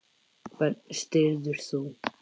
Hvern styður þú?